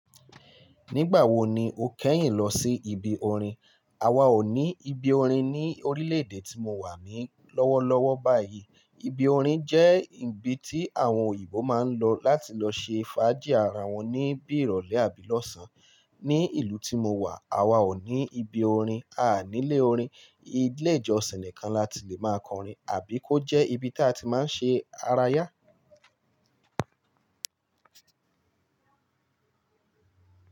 Nígbà wo ni o kẹ́yìn lọ sí ibi orin? Awa ò ní ibi orin ní orílẹ̀-èdè tí mo wà ní lọ́wọ́lọ́wọ́ báyìí. Ibi orin jẹ́ ibi tí àwọn òyìnbó máa ń lọ láti lọ ṣe fàájì ara wọn ní bí ìrọ̀lẹ́ àbí lọ́sàn-án. Ní ìlú tí mo wà, a wa ò ní ibi orin. A nílé orin, ilé-ìjọsìn nìkan láti lè máa kọrin àbí kó jẹ́ ibi tí a ti máa ń ṣe ara yá.